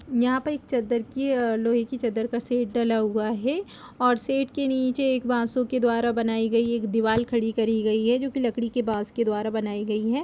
यहाँ पर एक चद्दर की लोहे की चद्दर का शेड डला हुआ है और शेड के नीचे एक बासों के द्वारा बनाई गयी एक दीवार खड़ी करी गयी है जोकि लकड़ी के बांस के द्वारा बनाई गई है।